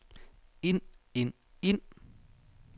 ind ind ind